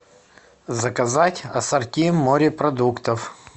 заказать ассорти морепродуктов